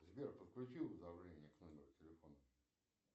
сбер подключи уведомления к номеру телефона